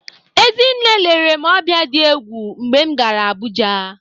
Ezinne lere m ọbịa dị egwu mgbe m gara Abụja.